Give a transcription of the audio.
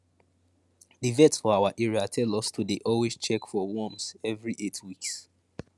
the vet for our area tell us to dey always check for worms every eight weeks